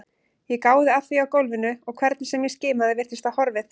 Ég gáði að því á gólfinu og hvernig sem ég skimaði virtist það horfið.